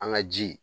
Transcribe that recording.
An ka ji